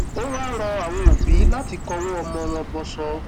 ó wáá rọ àwọn òbí láti kọwọ ọmọ wọn bọsọ